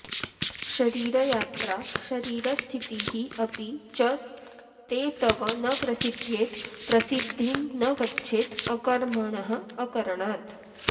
शरीरयात्रा शरीरस्थितिः अपि च ते तव न प्रसिध्येत् प्रसिद्धिं न गच्छेत् अकर्मणः अकरणात्